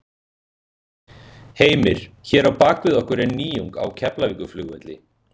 Heimir: Hér á bak við okkur er nýjung á Keflavíkurflugvelli?